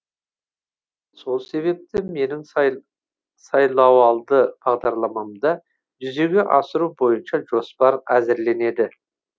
сол себепті менің сайлауалды бағдарламамды жүзеге асыру бойынша жоспар әзірленеді